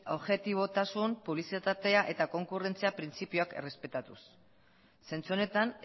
objetibotasun publizitatea eta konkurrentzia printzipioak errespetatuz zentzu honetan